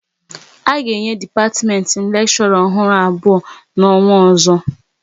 A ga-enye dipatiment m lekshora ọhụrụ abụọ n'ọnwa ozo